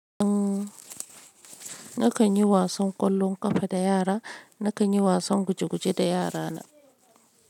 Umm nakan yi wasan ƙwallon ƙafa da yara, nakan yi wasan guje guje da yara na.